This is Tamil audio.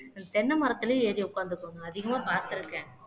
தென்னை மரத்திலேயே ஏறி உட்கார்ந்துக்கோங்க அதிகமா பார்த்திருக்கேன்